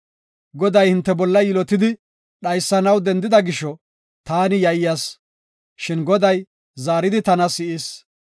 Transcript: Goday hinte bolla yilotidi dhaysanaw dendida gisho taani yayyas. Shin Goday zaaridi tana si7is.